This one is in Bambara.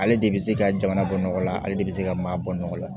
Ale de bɛ se ka jamana bɔ nɔgɔ la ale de bɛ se ka maa bɔ nɔgɔ la